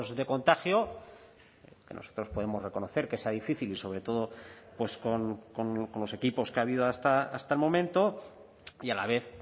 de contagio que nosotros podemos reconocer que sea difícil y sobre todo pues con los equipos que ha habido hasta el momento y a la vez